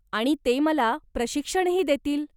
आणि ते मला प्रशिक्षणही देतील.